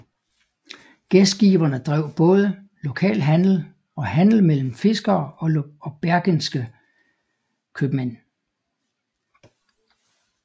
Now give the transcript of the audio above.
Gæstgiverne drev både lokal handel og handel mellem fiskere og bergenske købmænd